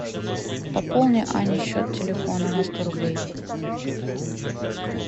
пополни ане счет телефона на сто рублей